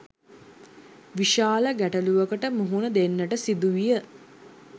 විශාල ගැටලුවකට මුහුණ දෙන්නට සිදු විය.